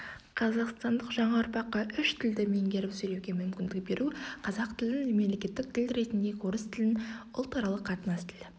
қазақстандық жаңа ұрпаққа үш тілді меңгеріп сөйлеуге мүмкіндік беру қазақ тілін мемлекеттік тіл ретінде орыс тілін ұлтаралық қатынас тілі